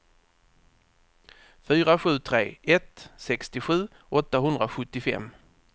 fyra sju tre ett sextiosju åttahundrasjuttiofem